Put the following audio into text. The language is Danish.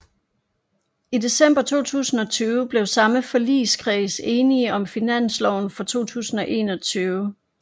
I december 2020 blev samme forligskreds enige om finansloven for 2021